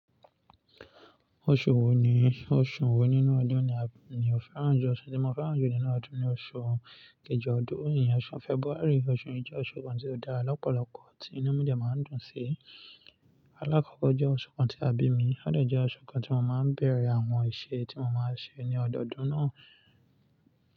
Oṣù wo ni, oṣù wo nínú ọdún ni a, ni o fẹ́ràn jù? Ọṣù tí mo fẹ́ràn jù nínú ọdún ni oṣù kejì ọdún yí, oṣù February. Oṣù yìí jẹ́ oṣù kan tí ó dá lọ́pọ̀lọpọ̀ ti inú mújẹ̀ máa ń dùn sí. Alákọ́kọ́ jẹ́ oṣù kan tí a bí mi, ó dẹ̀ jẹ́ oṣù kan tí mo máa ń bẹ̀rẹ̀ àwọn iṣẹ́ tí mo máa ń ṣe ní ọdọdún náà.